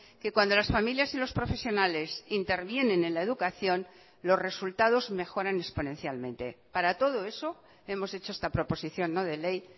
que cuando las familias y los profesionales intervienen en la educación los resultados mejoran exponencialmente para todo eso hemos hecho esta proposición no de ley